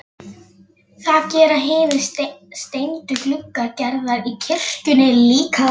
Það gera hinir steindu gluggar Gerðar í kirkjunni líka.